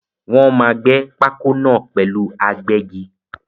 Wọ́n máa gbé pákó náà pẹ̀lú agbẹ́gi.